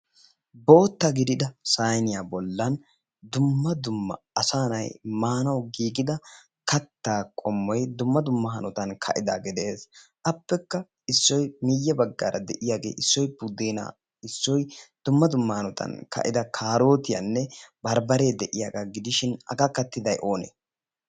bootta gidida sayniyaa bollaan dumma dumma asaa na'ay maanawu giigida kaattaa qommoy dumma dumma hanootan ka"idagee de'ees. appekka issoy miyye baggaara de'iyaagee issoy buddenaa issoy dumma dumma hanotaan ka"ida karootiyaanne gidishin barbbaree de'iyaagaa gidishin hagaa kaatiday onee?